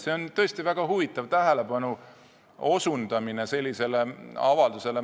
See on tõesti väga huvitav tähelepanu osutamine sellisele avaldusele.